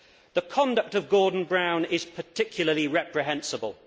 The conduct of Gordon Brown is particularly reprehensible.